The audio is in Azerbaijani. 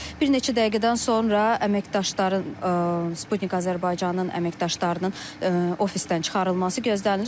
Bir neçə dəqiqədən sonra əməkdaşların, Sputnik Azərbaycanın əməkdaşlarının ofisdən çıxarılması gözlənilir.